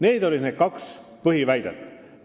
Need olid kaks põhiväidet.